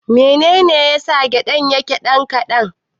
Menene yasa man gyaɗar yake ɗan kaɗan.